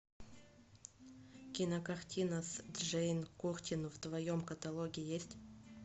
кинокартина с джейн куртин в твоем каталоге есть